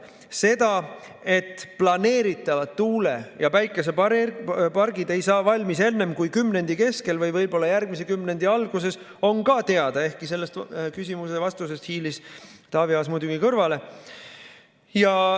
See, et planeeritavad tuule‑ ja päikesepargid ei saa valmis enne kui kümnendi keskel või võib-olla järgmise kümnendi alguses, on ka teada, ehkki selle küsimuse vastusest hiilis Taavi Aas muidugi kõrvale.